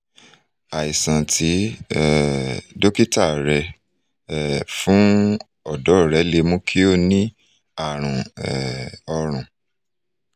àìsàn tí um dókítà rẹ um fún ọ̀dọ́ rẹ lè mú kó o ní àrùn um ọrùn